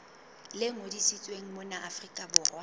le ngodisitsweng mona afrika borwa